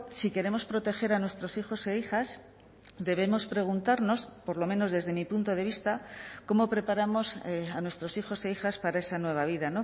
si queremos proteger a nuestros hijos e hijas debemos preguntarnos por lo menos desde mi punto de vista cómo preparamos a nuestros hijos e hijas para esa nueva vida